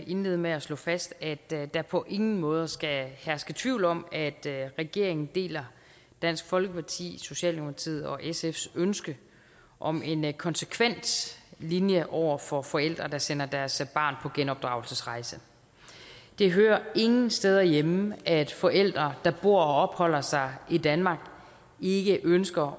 indlede med at slå fast at der på ingen måde skal herske tvivl om at regeringen deler dansk folkeparti socialdemokratiet og sfs ønske om en en konsekvent linje over for forældre der sender deres barn på genopdragelsesrejse det hører ingen steder hjemme at forældre der bor og opholder sig i danmark ikke ønsker